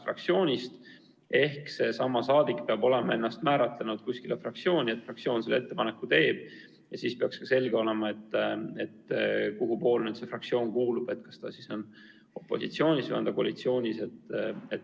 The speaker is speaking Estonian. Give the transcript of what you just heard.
Fraktsiooni mitte kuuluv saadik peab olema ennast määratlenud kuskile fraktsiooni ja kui fraktsioon tema määramise ettepaneku teeb, siis peaks ka selge olema, kuhupoole see inimene kuulub, kas ta on opositsioonis või koalitsioonis.